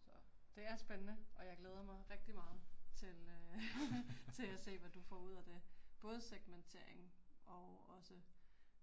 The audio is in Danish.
Så, det er spændende, og jeg glæder mig rigtig meget til øh ***nonverbal** til at se hvad du får ud af det både segmentering og også